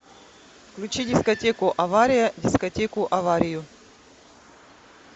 включи дискотеку авария дискотеку аварию